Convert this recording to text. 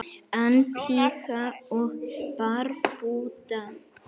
Antígva og Barbúda